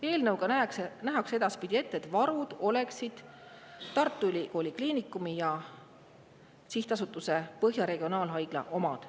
Eelnõuga nähakse edaspidi ette, et varud oleksid Tartu Ülikooli Kliinikumi ja Sihtasutuse Põhja Regionaalhaigla omad.